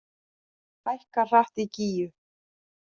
Hækkar hratt í Gígju